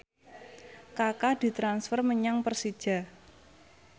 Kaka ditransfer menyang Persija